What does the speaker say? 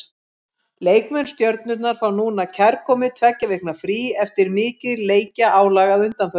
Leikmenn Stjörnunnar fá núna kærkomið tveggja vikna frí eftir mikið leikjaálag að undanförnu.